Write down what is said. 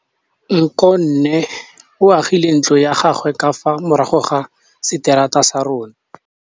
Nkgonne o agile ntlo ya gagwe ka fa morago ga seterata sa rona.